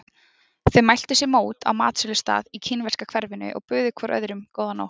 Þeir mæltu sér mót á matsölustað í kínverska hverfinu og buðu hvor öðrum góða nótt.